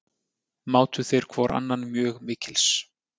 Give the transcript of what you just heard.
Mátu þeir hvor annan mjög mikils.